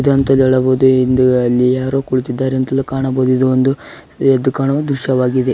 ಇದು ಅಂತಲೂ ಹೇಳ್ಬಹುದು ಹಿಂದು ಅಲ್ಲಿ ಯಾರೋ ಕುಳಿತಿದ್ದಾರೆ ಅಂತಲೂ ಕಾಣಬಹುದು ಇದು ಒಂದು ಎದ್ದು ಕಾಣುವ ದೃಶ್ಯವಾಗಿದೆ.